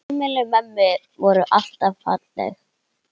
Heimili mömmu voru alltaf falleg.